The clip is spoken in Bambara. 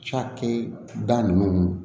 Cakɛda nunnu